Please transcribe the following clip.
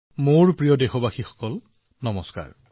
মোৰ মৰমৰ দেশবাসীসকল নমস্কাৰ